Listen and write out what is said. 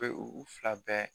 U bɛ u u fila bɛɛ